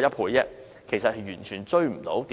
約一倍，完全追不上電動車數目的增幅。